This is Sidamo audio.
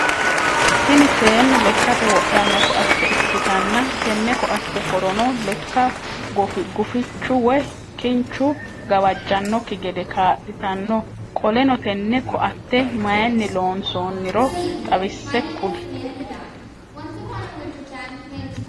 Tini seenu lekkate wodhannokoatte ikkitanna tenne koatte horono lekka gufichu woyi kinchu gawajjannokki gede kaaalitanno qoleno tenne koatte mayiinni loonsoiniro xawise kuli?